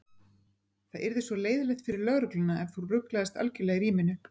Það yrði svo leiðinlegt fyrir lögregluna ef þú ruglaðist algerlega í ríminu.